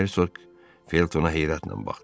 Hersoq Feltona heyrətlə baxdı.